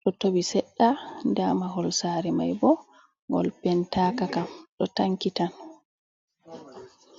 ɗo towi sedda nda mahol saare mai bo ngol pentaka kam ɗo tanki tan.